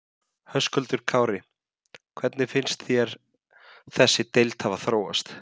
Höskuldur Kári: Hvernig finnst þér þessi deila hafa þróast?